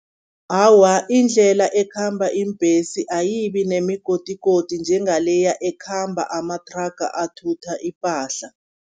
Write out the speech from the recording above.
Awa, indlela ekhamba iimbhesi ayibi nemigodigodi njengaleya ekhamba amathraga athutha ipahla.